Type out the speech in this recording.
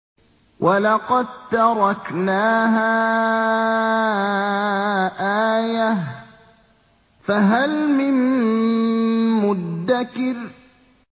وَلَقَد تَّرَكْنَاهَا آيَةً فَهَلْ مِن مُّدَّكِرٍ